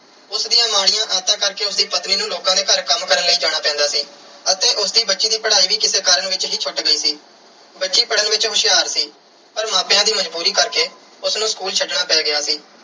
ਉਸ ਦੀਆਂ ਮਾੜੀਆਂ ਆਦਤਾਂ ਕਰਕੇ ਉਸ ਦੀ ਪਤਨੀ ਨੂੰ ਲੋਕਾਂ ਦੇ ਘਰ ਕੰਮ ਕਰਨ ਲਈ ਜਾਣਾ ਪੈਂਦਾ ਸੀ ਅਤੇ ਉਸ ਦੀ ਬੱਚੀ ਦੀ ਪੜ੍ਹਾਈ ਵੀ ਕਿਸੇ ਕਾਰਨ ਵਿੱਚ ਹੀ ਛੁੱਟ ਗਈ ਸੀ। ਬੱਚੀ ਪੜ੍ਹਨ ਵਿੱਚ ਹੁਸ਼ਿਆਰ ਸੀ ਪਰ ਮਾਪਿਆਂ ਦੀ ਮਜ਼ਬੂਰੀ ਕਰਕੇ ਉਸ ਨੂੰ school ਛੱਡਣਾ ਪੈ ਗਿਆ ਸੀ।